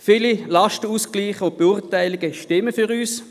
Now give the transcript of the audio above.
Viele Lastenausgleiche und Beurteilungen stimmen für uns.